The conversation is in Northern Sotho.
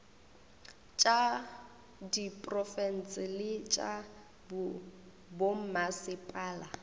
tša diprofense le tša bommasepala